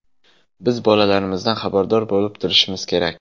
Biz bolalarimizdan xabardor bo‘lib turishimiz kerak.